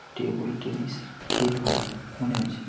Table tennis খেল হয় মনে হচ্ছে।